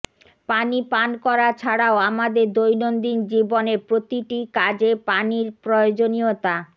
পানি পান করা ছাড়াও আমাদের দৈনন্দিন জীবনের প্রতিটি কাজে পানির প্রয়োজনীয়তা